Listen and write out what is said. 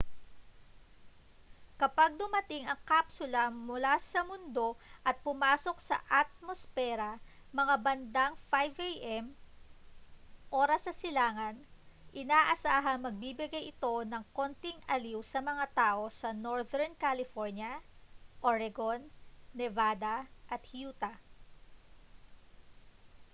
kapag dumating ang kapsula sa mundo at pumasok sa atmospera mga bandang 5 am oras sa silangan inaasahang magbibigay ito ng konting aliw sa mga tao sa northern california oregon nevada at utah